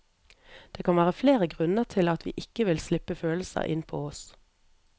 Det kan vært flere grunner til at vi ikke vil slippe følelser inn på oss.